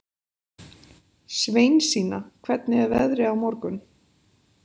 Sveinsína, hvernig er veðrið á morgun?